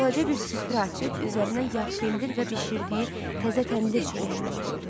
Balaca bir süfrə açıb üzərinə yağ, pendir və bişirdiyi təzə təndir çörəyindən qoydu.